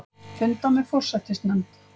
Funda með forsætisnefnd